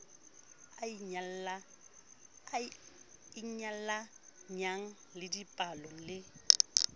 a inyalanyang le dipallo le